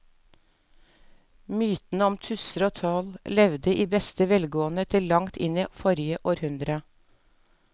Mytene om tusser og troll levde i beste velgående til langt inn i forrige århundre.